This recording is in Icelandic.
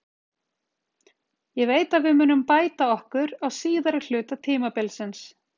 Ég veit að við munum bæta okkur á síðari hluta tímabilsins.